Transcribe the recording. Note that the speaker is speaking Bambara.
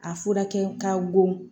A fura kɛ k'a bon